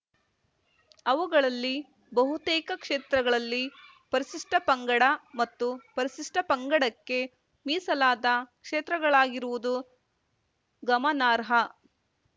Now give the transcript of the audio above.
ಅವುಗಳಲ್ಲಿ ಬಹುತೇಕ ಕ್ಷೇತ್ರಗಳಲ್ಲಿ ಪರಿಶಿಷ್ಟಪಂಗಡ ಮತ್ತು ಪರಿಶಿಷ್ಟಪಂಗಡಕ್ಕೆ ಮೀಸಲಾದ ಕ್ಷೇತ್ರಗಳಾಗಿರುವುದು ಗಮನಾರ್ಹ